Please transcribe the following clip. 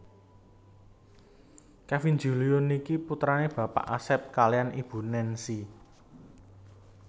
Kevin Julio niki putrane Bapak Asep kaliyan Ibu Nancy